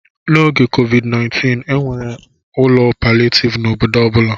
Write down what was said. N'oge COVID-19, e nwere ụlọ palịetivu n'obodo ọ bụla.